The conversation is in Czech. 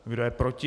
Kdo je proti?